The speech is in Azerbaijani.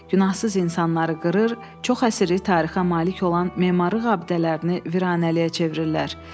Günahsız insanları qırır, çox əsrlik tarixə malik olan memarlıq abidələrini viranəliyə çevirirlər.